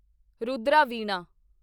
Rudra Veena